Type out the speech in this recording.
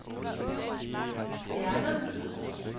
stjerner